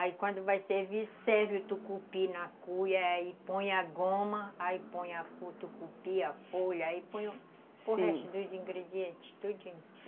Aí quando vai servir, serve o tucupi na cuia, aí põe a goma, aí põe o tucupi, a folha, aí põe, sim, o resto dos ingredientes, tudinho.